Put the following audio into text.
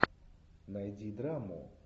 найди драму